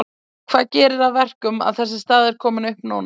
Hvað gerir að verkum að þessi staða er komin upp núna?